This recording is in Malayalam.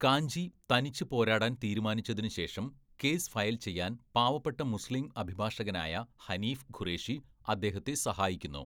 കാഞ്ചി തനിച്ച് പോരാടാൻ തീരുമാനിച്ചതിനുശേഷം കേസ് ഫയൽ ചെയ്യാൻ പാവപ്പെട്ട മുസ്ലിം അഭിഭാഷകനായ ഹനീഫ് ഖുറേഷി അദ്ദേഹത്തെ സഹായിക്കുന്നു.